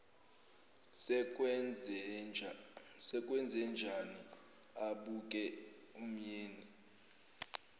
sekwenzenjani abuke umyeni